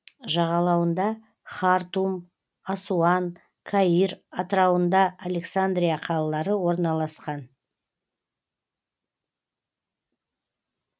жағалауында хартум асуан каир атырауында александрия қалалары орналасқан